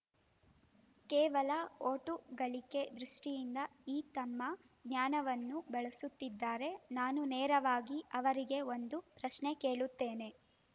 ಕೇವಲ ವೋಟು ಗಳಿಕೆ ದೃಷ್ಟಿಯಿಂದ ಈ ತಮ್ಮ ಜ್ಞಾನವನ್ನು ಬಳಸುತ್ತಿದ್ದಾರೆ ನಾನು ನೇರವಾಗಿ ಅವರಿಗೆ ಒಂದು ಪ್ರಶ್ನೆ ಕೇಳುತ್ತೇನೆ